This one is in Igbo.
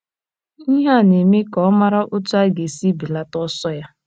Ihe a na - eme ka ọ mara otú ọ ga - esi belata ọsọ ya.